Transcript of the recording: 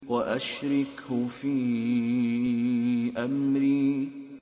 وَأَشْرِكْهُ فِي أَمْرِي